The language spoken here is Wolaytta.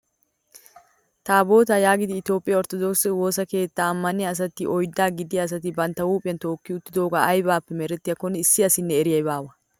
Taabotaa yaagidi itoophphiyaa orttodokisee woossa keettaa ammaniyaa asati oyddaa gidiyaa asati bantta huuphphiyaan tookki uttidogee aybappe merettiyaakonne issi asinne eriyay baawa!